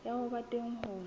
ya ho ba teng ho